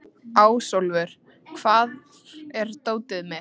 Ásólfur, hvar er dótið mitt?